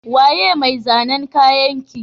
Waye mai zanan kayanki?